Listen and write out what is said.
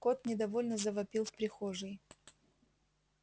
кот недовольно завопил в прихожей